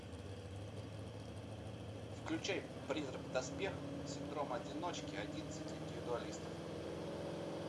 включай призрак в доспехах синдром одиночки одиннадцать индивидуалистов